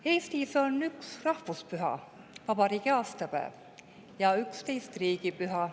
Eestis on 1 rahvuspüha – vabariigi aastapäev – ja 11 riigipüha.